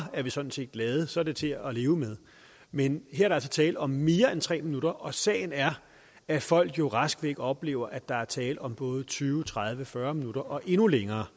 er vi sådan set glade så er det til at leve med men her er der altså tale om mere end tre minutter og sagen er at folk jo rask væk oplever at der er tale om både tyve tredive fyrre minutter og endnu længere